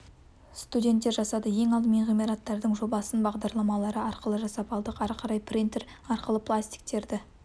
студенттер жасады ең алдымен ғимараттардың жобасын бағдарламалары арқылы жасап алдық ары қарай принтер арқылы пластиктерді